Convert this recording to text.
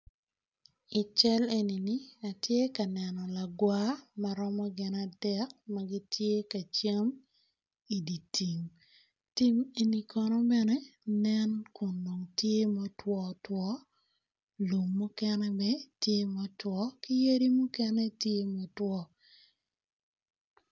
I cal eni atye ka neno lagawar ma gitye kacel dye tim eni kono tye ka nen ma otwo otwo lum mukene ki yadi mukene tye ma otwo